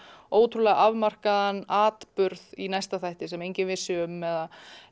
ótrúlega afmarkaðan atburð í næsta þætti sem enginn vissi neitt um eða